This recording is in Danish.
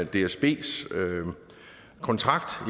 dsbs kontrakt